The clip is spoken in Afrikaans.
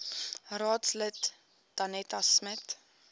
raadslid danetta smit